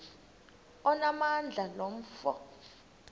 onamandla lo mfo